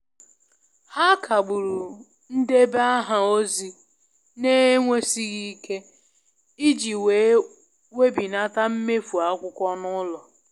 Ha kagburu ndebe aha ozi n'enwesighi isi, i ji wee webinata mmefu akwukwo n'ulo.